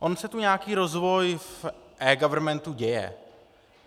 On se tu nějaký rozvoj v eGovernmentu děje.